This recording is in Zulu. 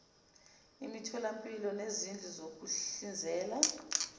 imitholampilo nezindlu zokuhlinzela